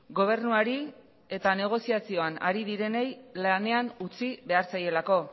gobernuari eta negoziazioan ari direnei lanean utzi behar zaielako